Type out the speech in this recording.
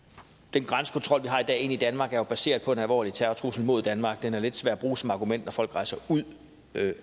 grænsekontrol vi har i dag ind i danmark er jo baseret på den alvorlige terrortrussel mod danmark den er lidt svær at bruge som argument når folk rejser ud